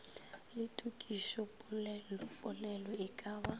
le tokišopolelopolelo e ka ba